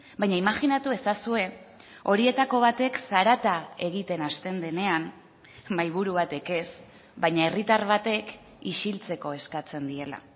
baina imajinatu ezazue horietako batek zarata egiten hasten denean mahaiburu batek ez baina herritar batek isiltzeko eskatzen diela